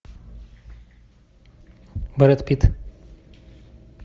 брэд питт